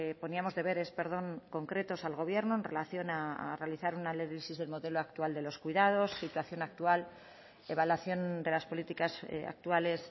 poníamos deberes concretos al gobierno en relación a realizar un análisis del modelo actual de los cuidados situación actual evaluación de las políticas actuales